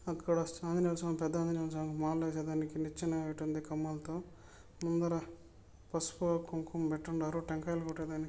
అక్కడ ఆంజనేయ స్వామి పెద్ద ఆంజనేయ స్వామి మాల వేసేదానికి నిచ్చెన పెట్టుంది కంభలాతో ముందర పసుపు కుంకుమ పెట్టి ఉన్నారు టెంకాయలు కొట్టేదానికి